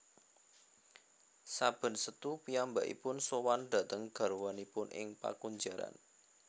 Saben Setu piyambakipun sowan dateng garwanipun ing pakunjaran